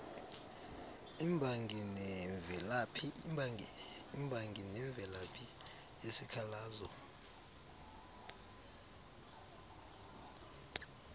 imbangi nemvelaphi yesikhalazo